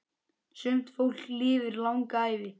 Sumt fólk lifir langa ævi.